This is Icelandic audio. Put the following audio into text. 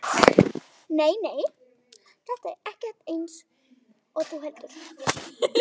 Nei, nei, þetta er ekkert eins og þú heldur.